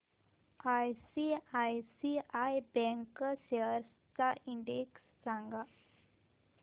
ICICI bank shares चा index सांगा